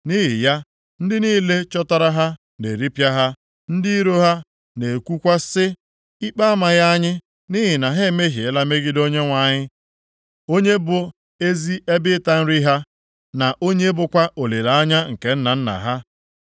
Nʼihi ya, ndị niile chọtara ha na-eripịa ha. Ndị iro ha na-ekwukwa sị, ‘Ikpe amaghị anyị nʼihi na ha emehiela megide Onyenwe anyị, onye bụ ezi ebe ịta nri ha, na onye bụkwa olileanya nke nna nna ha.’